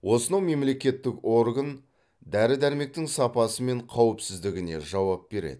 осынау мемлекеттік орган дәрі дәрмектің сапасы мен қауіпсіздігіне жауап береді